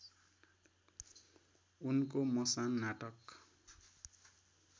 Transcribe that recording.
उनको मसान नाटक